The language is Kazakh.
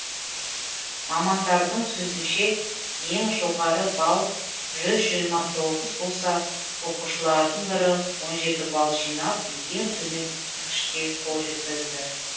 мамандардың сөзінше ең жоғары балл жүз жиырма тоғыз болса оқушылардың бірі он жеті бал лжинап ең төмен көрсеткішке қол жеткізді